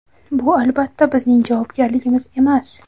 Bu, albatta, bizning javobgarligimiz emas.